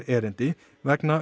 erindi vegna